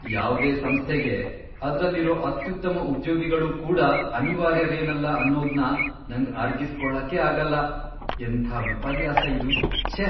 ಯಾವ್ದೇ ಸಂಸ್ಥೆಗೆ ಅದ್ರಲ್ಲಿರೋ ಅತ್ಯುತ್ತಮ ಉದ್ಯೋಗಿಗಳೂ ಕೂಡ ಅನಿವಾರ್ಯರೇನಲ್ಲ ಅನ್ನೋದ್ನ ನಂಗ್ ಅರ್ಗಿಸ್ಕೊಳಕ್ಕೇ ಆಗಲ್ಲ. ಎಂಥ ವಿಪರ್ಯಾಸ ಇದು, ಛೇ.